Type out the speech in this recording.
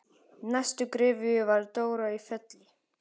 Í næstu gryfju var Dóra í Felli.